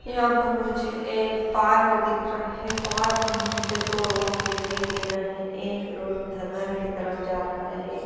यहां पर मुझे एक पार्क दिख रहा है पार्क मुझे दो रोड दिखाई दे रहा है एक रोड है ध घर की तरफ जा रहा है।